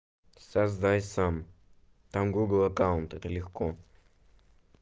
создай сам там гугл аккаунт это легко